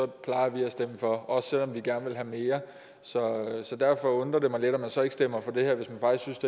plejer vi at stemme for også selv om vi gerne ville have mere så derfor undrer det mig lidt at man så ikke stemmer for det her hvis man faktisk